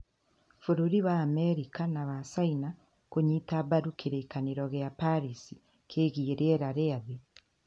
Bũrũri wa Amerika na wa Caina kũnyita mbaru kĩrĩkanĩro kĩa Paris kĩgiĩ rĩera rĩa thĩ